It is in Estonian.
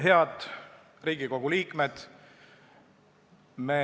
Head Riigikogu liikmed!